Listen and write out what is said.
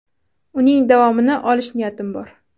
Uning davomini olish niyatim bor.